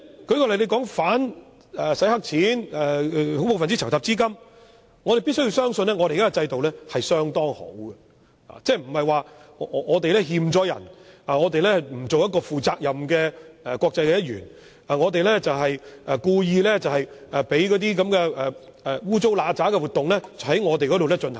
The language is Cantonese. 舉例，對於打擊洗黑錢及打擊恐怖分子籌集資金方面，我們必須相信我們的現有制度是有效的，即我們並無虧欠人，並非不負責任的國際一員，故意讓不見得光的活動在香港進行。